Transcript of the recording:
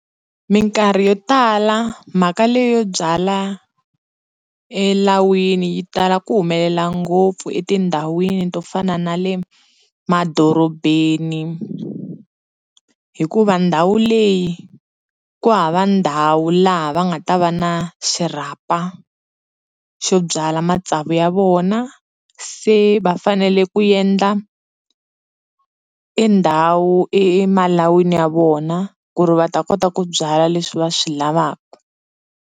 Minkarhi yo tala mhaka leyo byala elawini yi tala ku humelela ngopfu etindhawini to fana na le madorobeni hikuva ndhawu leyi ku hava ndhawu laha va nga ta va na xirhapa xo byala matsavu ya vona se va fanele ku endla endhawu emalawini ya vona ku ri va ta kota ku byala leswi va swi lavaka.